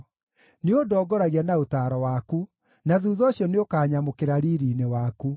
Nĩũndongoragia na ũtaaro waku, na thuutha ũcio nĩũkanyamũkĩra riiri-inĩ waku.